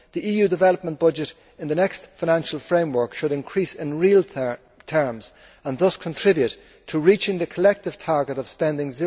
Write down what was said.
The EU development budget in the next financial framework should increase in real terms and thus contribute to reaching the collective target of spending